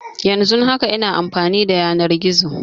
Yanzun haka ina amfani da yanar gizo